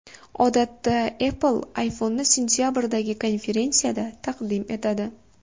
Odatda Apple ayfonni sentabrdagi konferensiyasida taqdim etadi.